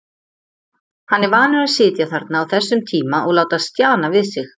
Hann er vanur að sitja þarna á þessum tíma og láta stjana við sig.